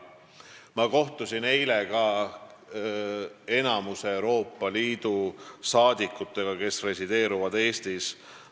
Ma kohtusin eile ka enamiku Euroopa Liidu riikide saadikutega, kes resideerivad Eestis.